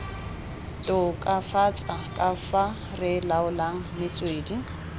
tokafatsa kafa re laolang metswedi